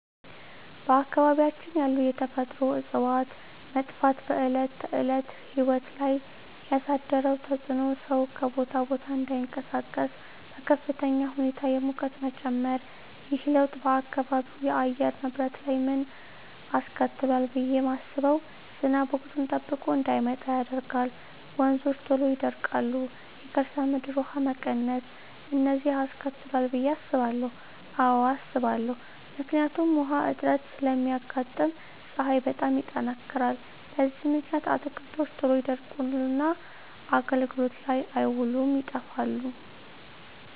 በአካባቢያችን ያሉ የተፈጥሮ እፅዋት መጥፋት በዕለት ተዕለት ሕይወት ላይ ያሣደረው ተፅኖ ሠው ከቦታ ቦታ እዳይንቀሣቀስ፤ በከፍተኛ ሁኔታ የሙቀት መጨመር። ይህ ለውጥ በአካባቢው የአየር ንብረት ላይ ምን አስከትሏል ብየ ማስበው። ዝናብ ወቅቱን ጠብቆ እዳይመጣ ያደርጋል፤ ወንዞች ቶሎ ይደርቃሉ፤ የከርሠ ምድር ውሀ መቀነስ፤ እነዚን አስከትሏል ብየ አስባለሁ። አዎ አስባለሁ። ምክንያቱም ውሀ እጥረት ስለሚያጋጥም፤ ፀሀይ በጣም ይጠነክራል። በዚህ ምክንያት አትክልቶች ቶሎ ይደርቁና አገልግሎት ላይ አይውሉም ይጠፋሉ።